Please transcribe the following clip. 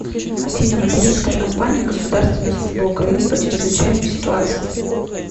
афина материнская компания государственная служба украины по чрезвычайным ситуациям